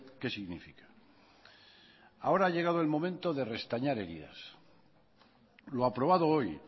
qué significa ahora ha llegado el momento de restañar heridas lo aprobado hoy